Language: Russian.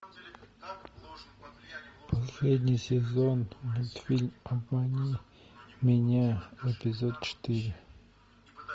последний сезон мультфильм обмани меня эпизод четыре